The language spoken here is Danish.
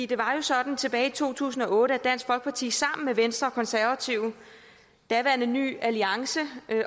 det var jo sådan tilbage i to tusind og otte at dansk folkeparti sammen med venstre konservative daværende ny alliance